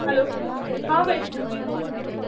Hello, हा वैष्णवी बोल ना.